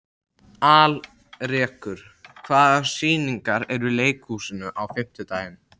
Alrekur, hvaða sýningar eru í leikhúsinu á fimmtudaginn?